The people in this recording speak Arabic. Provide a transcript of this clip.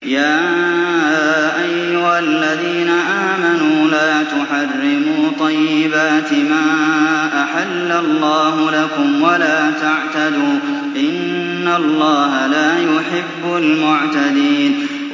يَا أَيُّهَا الَّذِينَ آمَنُوا لَا تُحَرِّمُوا طَيِّبَاتِ مَا أَحَلَّ اللَّهُ لَكُمْ وَلَا تَعْتَدُوا ۚ إِنَّ اللَّهَ لَا يُحِبُّ الْمُعْتَدِينَ